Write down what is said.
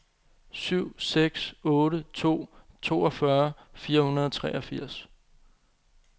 syv seks otte to toogfyrre fire hundrede og treogfirs